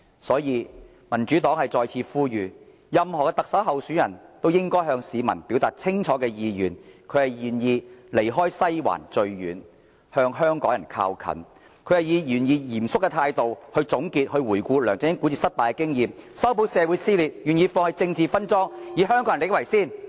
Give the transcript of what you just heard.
因此，民主黨再次呼籲，所有特首候選人均應向市民表達清楚意願，就是願意"離西環最遠，向香港人靠近"；願意以嚴肅的態度總結和回顧梁振英管治失敗的經驗，修補社會裂痕；願意放棄政治分贓，以香港人的利益為先。